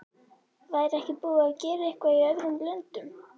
Væri ekki búið að gera eitthvað í öðrum löndum?